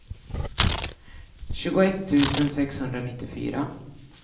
tjugoett tusen sexhundranittiofyra